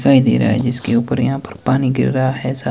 दिखाई दे रहा है जिसके ऊपर यहां पर पानी गिर रहा है सा--